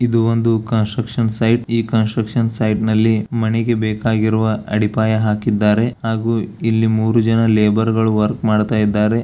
ಇದು ಒಂದು construction site ಈ ಕನ್ಸ್ಟ್ರಕ್ಷನ್ ಸೈಟ್ ನಲ್ಲಿ ಮನೆಗೆ ಬೇಕಾಗಿರುವ ಅಡಿಪಾಯ ಹಾಕಿದ್ದಾರೆ ಹಾಗೂ ಇಲ್ಲಿ ಮೂರು ಜನ ಲೇಬರ್ಗ ಳೂ ವರ್ಕ್ ಮಾಡುತ್ತಾ ಇದ್ದಾರೆ.